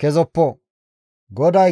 kezoppo. Hisophphe